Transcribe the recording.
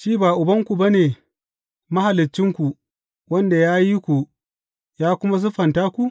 Shi ba Ubanku ba ne, Mahaliccinku, wanda ya yi ku, ya kuma siffanta ku?